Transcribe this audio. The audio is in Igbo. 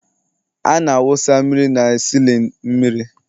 a na-awụsa mmiri n'ime A sịlịn mmiri..